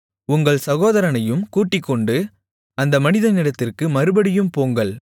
உங்கள் சகோதரனையும் கூட்டிக்கொண்டு அந்த மனிதனிடத்திற்கு மறுபடியும் போங்கள்